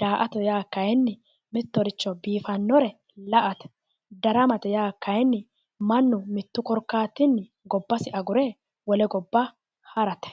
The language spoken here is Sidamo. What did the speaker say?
daa"ata yaa kayinni mittoricho biifannoricho ikkinore la"ate daramate yaa kayinni mannu mittu korkaatinni gobbasi agure harate.